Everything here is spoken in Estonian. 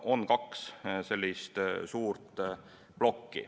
On kaks sellist suurt plokki.